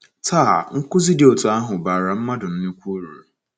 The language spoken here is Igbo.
Taa, nkụzi dị otú ahụ bara mmadụ nnukwu uru.